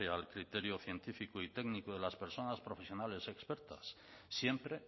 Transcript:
al criterio científico y técnico de las personas profesionales expertas siempre